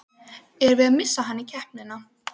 Erum við að missa hann í keppnina?